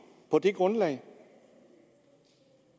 på det grundlag